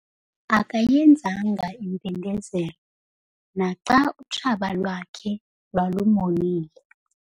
Akayenzanga impindezelo naxa utshaba lwakhe lwalumonile.